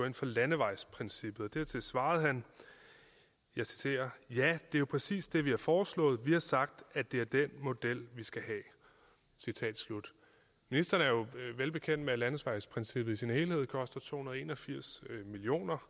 ind for landevejsprincippet og dertil svarede han jeg citerer ja er jo præcis det vi har foreslået vi har sagt at det er den model vi skal have citat slut ministeren er jo velbekendt med at landevejsprincippet i sin helhed koster to hundrede og en og firs millioner